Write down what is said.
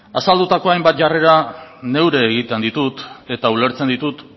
azaldutako hainbat jarrera neure egiten ditut eta ulertzen ditut